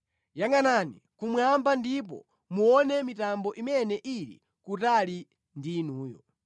Yangʼanani kumwamba ndipo muone mitambo imene ili kutali ndi inuyo.